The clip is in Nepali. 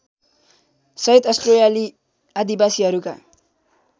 सहित अस्ट्रेलियाली आदिवासीहरूका